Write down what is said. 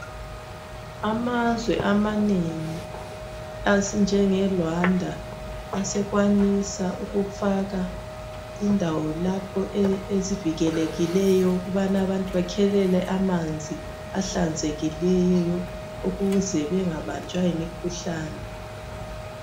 Amazwe amanengi afana le Rwanda asekwanisa ukufaka indawo lapho ezivikelekileyo ukuze abantu bakhe amanzi ahlanzekileyo ukwenzela ukuthi bengabanjwa yimikhuhlane.